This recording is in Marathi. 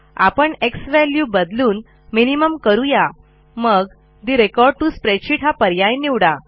आपण एक्स वॅल्यू बदलून minimumकरू या मग ठे रेकॉर्ड टीओ स्प्रेडशीट हा पर्याय निवडा